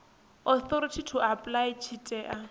authority to apply tshi tea